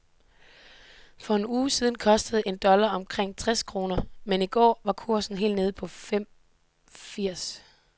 For en uge siden kostede en dollar omkring seks kroner, men i går var kursen helt nede på fem firs.